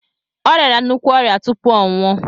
Ọ riara nnukwu ọrịa tupu ọ nwụọ